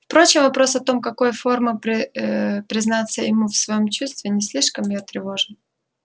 впрочем вопрос о том в какой форме признаться ему в своём чувстве не слишком её тревожил